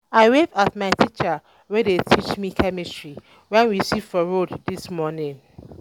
i wave at my teacher wey dey teach me chemistry wen we see for road dis morning um